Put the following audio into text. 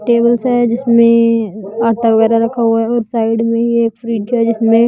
tables है जिसमें आटा वगैरा रखा हुआ है और साइड में ही एक फ्रिज जिसमें--